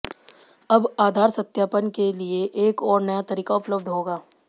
अब आधार सत्यापन के लिए एक और नया तरीका उपलब्ध होगा